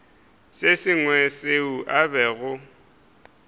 se sengwe seo a bego